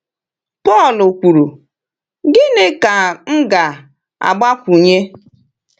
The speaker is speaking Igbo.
Pọl kwuru, “Gịnị ka m ga-agbakwunye?”